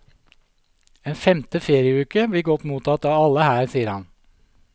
En femte ferieuke blir godt mottatt av alle her, sier han.